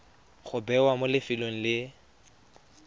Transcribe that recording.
go bewa mo lefelong le